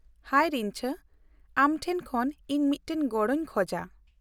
-ᱦᱟᱭ ᱨᱤᱧᱡᱟᱹ, ᱟᱢ ᱴᱷᱮᱱ ᱠᱷᱚᱱ ᱤᱧ ᱢᱤᱫ ᱴᱟᱝ ᱜᱚᱲᱚᱧ ᱠᱷᱚᱡᱟ ᱾